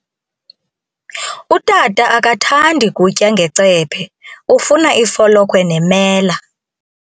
Utata akathandi kutya ngecephe, ufuna ifolokhwe nemela.